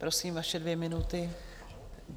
Prosím, vaše dvě minuty.